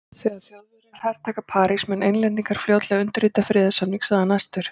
Þegar Þjóðverjar hertaka París munu Englendingar fljótlega undirrita friðarsamning sagði hann æstur.